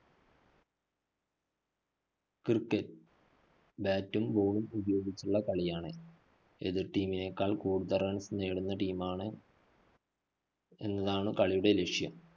cricketbat ഉം ball ഉം ഉപയോഗിച്ചുള്ള കളിയാണ്. എതിര്‍ team നേക്കാള്‍ കൂടുതല്‍ runs നേടുന്ന team മാണ് എന്നതാണ് കളിയുടെ ലക്ഷ്യം.